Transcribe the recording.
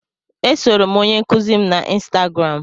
E soro m onye nkuzi m na ịnstagram.